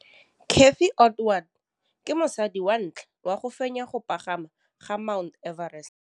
Cathy Odowd ke mosadi wa ntlha wa go fenya go pagama ga Mt Everest.